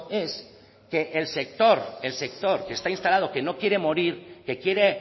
es que el sector el sector que está instalado que no quiere morir que quiere